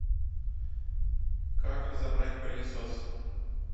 как разобрать пылесос